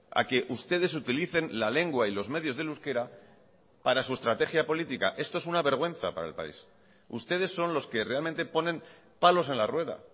a que ustedes utilicen la lengua y los medios del euskera para su estrategia política esto es una vergüenza para el país ustedes son los que realmente ponen palos en la rueda